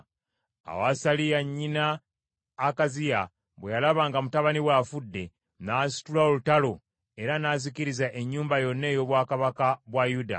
Awo Asaliya, nnyina Akaziya bwe yalaba nga mutabani we afudde, n’asitula olutalo era n’azikiriza ennyumba yonna ey’obwakabaka bwa Yuda.